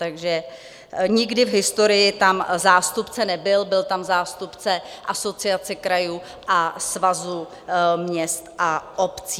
Takže nikdy v historii tam zástupce nebyl, byl tam zástupce Asociace krajů a Svazu měst a obcí.